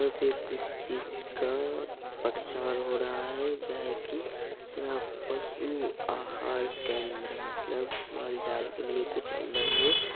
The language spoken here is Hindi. यहाँ पे किस चीज का परचार हो रहा है गाय की या पशु आहार केंद्र| मतलब माल - जाल के लिए कुछ अंदर में --